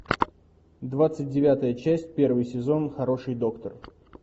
двадцать девятая часть первый сезон хороший доктор